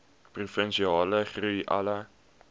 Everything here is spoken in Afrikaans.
provinsiale groei alle